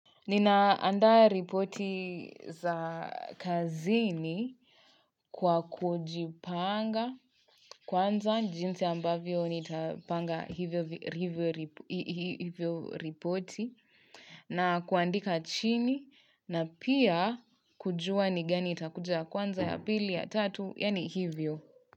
Nina andaa ripoti za kazini kwa kujipanga kwanza jinsi ambavyo nitapanga hivyo hivyo ripoti na kuandika chini na pia kujua ni gani itakuja ya kwanza ya pili ya tatu yaani hivyo.